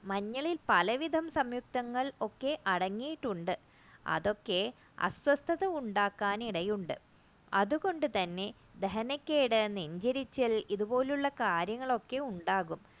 മഞ്ഞളിൽ പലവിധ സംയുക്തങ്ങൾ ഒക്കെ അടങ്ങിയിട്ടുണ്ട് അതൊക്കെ അസ്വസ്ഥത ഉണ്ടാക്കാൻ ഇടയുണ്ട് അതുകൊണ്ടുതന്നെ ദഹനക്കേട് നെഞ്ചരിച്ച ഇതുപോലെയുള്ള കാര്യങ്ങൾ ഉണ്ടാകും